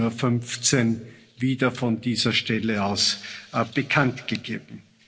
18.15 Uhr wieder von dieser Stelle aus bekannt gegeben.